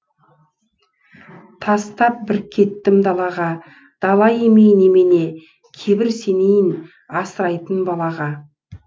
тастап бір кеттім далаға дала емей немене кейбір сенейін асырайтын балаға